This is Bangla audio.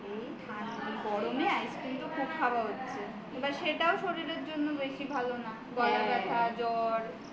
এই গরমে তো ice cream খুব খাওয়া হচ্ছে এবার সেটাও শরীরের জন্য বেশি ভালো না গলা ব্যথা জ্বর